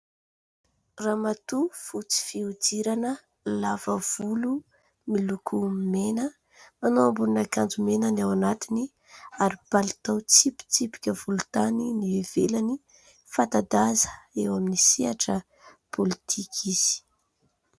Ramatoa fotsy fihodirana, lava volo miloko mena, manao ambonin' akanjo mena ny ao anatiny ary palitao tsipitsipika volontany ny ivelany. Fanta-daza eo amin'ny sehatra politika izy.